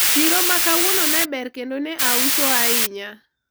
chiro ma kawuono ne ber kendo nye auso ahinya